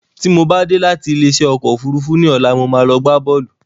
Tí mo bá dé láti ilé isẹ́ ọkọ̀ òfúrúúfú ní ọ̀la, mo máa lọ gbá boolu